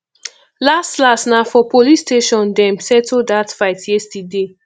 las las na for police station dem settle dat fight yesterday